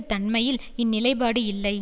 தன்மையில் இந்நிலைப்பாடு இல்லை